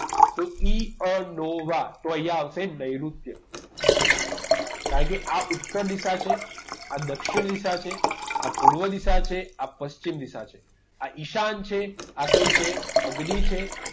તો ઈ અ નો વા તો અહીંયા આવશે નૈઋત્ય કારણ કે આ ઉત્તર દિશા છે આ દક્ષિણ દિશા છે આ પૂર્વ દિશા છે આ પશ્ચિમ દિશા છે આ ઈશાન છે આ કઈ છે અગ્નિ છે